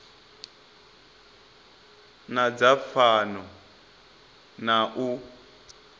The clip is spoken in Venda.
na dza fhano na u